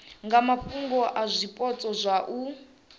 nga mafhungo a zwipotso zwa